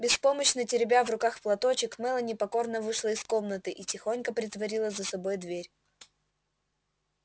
беспомощно теребя в руках платочек мелани покорно вышла из комнаты и тихонько притворила за собой дверь